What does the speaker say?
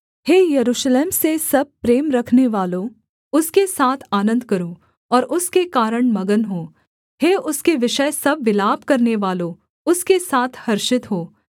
हे यरूशलेम से सब प्रेम रखनेवालों उसके साथ आनन्द करो और उसके कारण मगन हो हे उसके विषय सब विलाप करनेवालों उसके साथ हर्षित हो